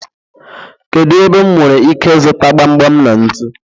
Kedu ebe m nwere ike ịzụta gbam gbam na ntu?